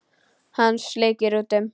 Hann sleikir út um.